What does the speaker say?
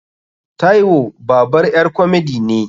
Taiwo babar ƴar komedi ne.